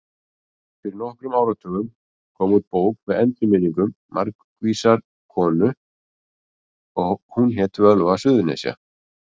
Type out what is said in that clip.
Fyrir nokkrum áratugum kom út bók með endurminningum margvísrar konu og hét hún Völva Suðurnesja.